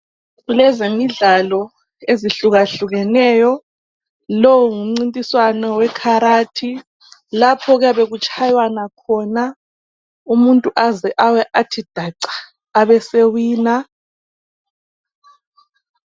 Kulezemidlalo ezihlukahlukeneyo. Lowu ngumncintiswano wekharathi, lapho okuyabe kutshaywana khona umuntu aze awe athi daca , abesewina.